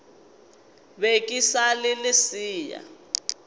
be ke sa le lesea